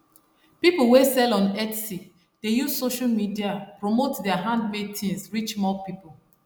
people wey sell on etsy dey use social media promote their handmade things reach more people